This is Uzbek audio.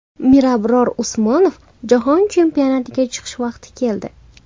Mirabror Usmonov: Jahon chempionatiga chiqish vaqti keldi.